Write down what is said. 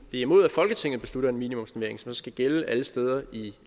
er imod at folketinget beslutter at en minimumsnormering skal gælde alle steder i